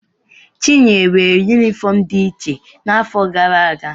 Chinyere nwere yunifọọm dị iche n'afọ gara aga.